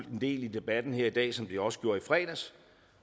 en del i debatten her i dag som det også gjorde i fredags